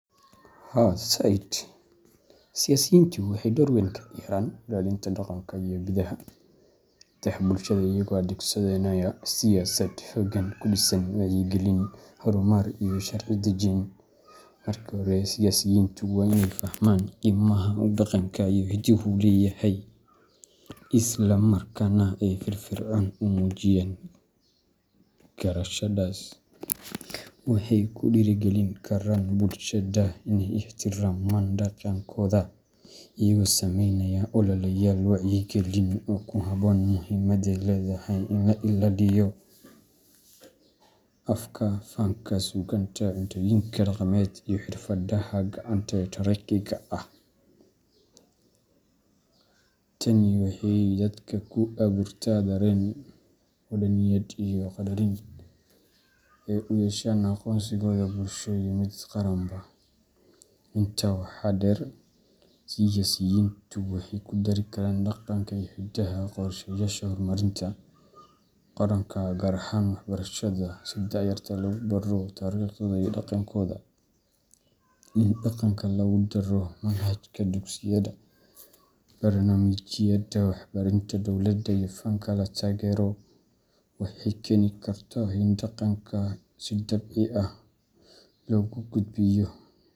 Haa zaid. Siyasiyiintu waxay dor weyn ka ciyaaraan ilaalinta dhaqanka iyo hidaha bulshadooda iyagoo adeegsanaya siyaasad iyo hoggaan ku dhisan wacyigelin, horumarin, iyo sharci dejin. Marka hore, siyaasiyiintu waa inay fahmaan qiimaha uu dhaqanka iyo hiduhu leeyahay, isla markaana ay si firfircoon u muujiyaan garashadaas. Waxay ku dhiirrigelin karaan bulshada inay ixtiraamaan dhaqankooda iyagoo samaynaya ololeyaal wacyigelin ah oo ku saabsan muhiimadda ay leedahay in la ilaaliyo afka, fanka, suugaanta, cuntooyinka dhaqameed, iyo xirfadaha gacanta ee taariikhiga ah. Tani waxay dadka ku abuurtaa dareen wadaniyadeed iyo qaddarin ay u yeeshaan aqoonsigooda bulsho iyo mid qaranba. Intaa waxaa dheer, siyaasiyiintu waxay ku dari karaan dhaqanka iyo hidaha qorshayaasha horumarinta qaranka, gaar ahaan waxbarashada, si da'yarta loogu baro taariikhdooda iyo dhaqankooda. In dhaqanka lagu daro manhajka dugsiyada, barnaamijyada warbaahinta dowladda, iyo fanka la taageero, waxay keeni kartaa in dhaqanka si dabiici ah loogu gudbiyo.